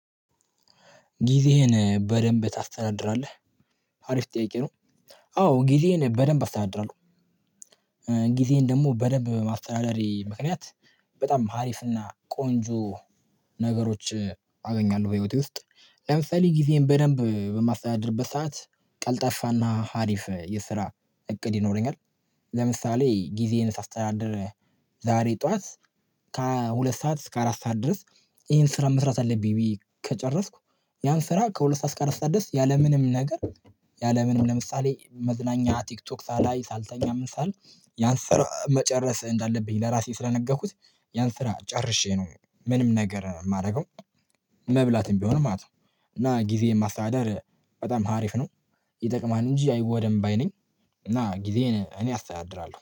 ጊዜህን በደንብ ታስተናድራለህ አሪፍ ጥያቂ ነው? አዎ ጊዜህን በደንብ አስተዳደራለሁ። ጊዜን ደግሞ በደንብ ማስተዳደሪ ምክንያት በጣም ሀሪፍና ቆንጆ ነገሮች አገኛለሁ በህይወቴ ውስጥ። ለምሳሌ ጊዜን በደንብ በማስተዳደርበት ሰዓት ቀልጣፋና ሀሪፍ የስራ እቅድ ይኖረኛል፤። ለምሳሌ ጊዜን ሳስተዳደር ዛሬ ጠዋት ከሁለት ሰዓት እስከ አራት ሰዓት ድረስ ይሄን ስራ መስራት አለብኝ ብዬ ከጨረስኩ። ያን ስራ ከሁለት ሰዓት እስከ አራት ሰዓት ድረስ ያለምንም ነገር። ያለምንም ለምሳሌ መዝናኛ ቲክቶክ ሳላይ ሳልተኛ ምን ሳል ያን ስራ መጨረስ እንዳለብኝ ለራሴ ስለነገርኩት ያን ስራ ጨርሼ ነው ምንም ነገር የማደርገው፤። መብላትም ቢሆን ማለት ነው። እና ጊዜ የማስተዳደር በጣም ሀሪፍ ነው። ይጠቅማል እንጂ አይጎዳም ባይ ነኝ። እና ጊዜን እኔ አስተያድራለሁ